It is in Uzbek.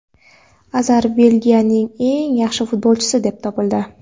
Azar Belgiyaning eng yaxshi futbolchisi deb topildi.